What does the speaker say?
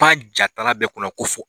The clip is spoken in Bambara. Pan jatala bɛɛ kunna ko fo